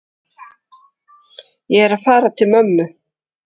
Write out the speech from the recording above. Ég er að fara til mömmu.